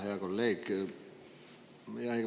Hea kolleeg!